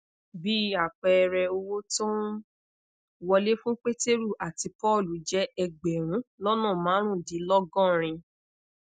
bí àpẹẹrẹ owó tó ń wọlé fún pétérù àti pọọlù jẹ egberun lona marundinlogorin